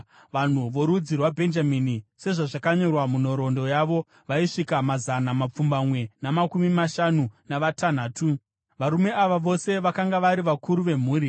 Vanhu vorudzi rwaBhenjamini sezvazvakanyorwa munhoroondo yavo, vaisvika mazana mapfumbamwe namakumi mashanu navatanhatu. Varume ava vose vakanga vari vakuru vemhuri.